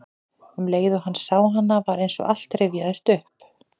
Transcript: Um leið og hann sá hana var eins og allt rifjaðist upp.